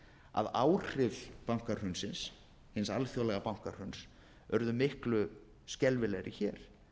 að áhrif bankahrunsins hins alþjóðlega bankahruns urðu miklu skelfilegri hér